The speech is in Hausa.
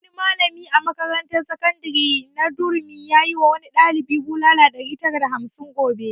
Wani malami a makarantar sakandare na durumi yayi wa wani ɗalibi bulala ɗari tara da hamsin gobe